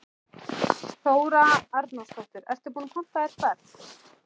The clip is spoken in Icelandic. Þóra Arnórsdóttir: Ertu búinn að panta þér ferð?